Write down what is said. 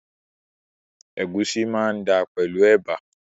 Ègúsí máa dáa pẹ̀lú ẹ̀bà